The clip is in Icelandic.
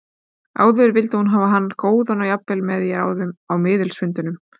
Áður vildi hún hafa hann góðan og jafnvel með í ráðum á miðilsfundunum.